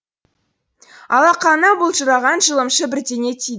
алақанына былжыраған жылымшы бірдеңе тиді